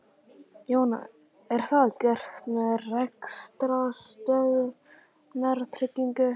Jóhann: Er það gert með rekstrarstöðvunartryggingu?